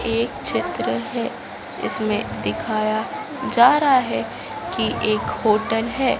एक चित्र है इसमें दिखाया जा रहा है की एक होटल हैं।